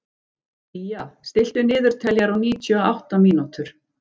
Día, stilltu niðurteljara á níutíu og átta mínútur.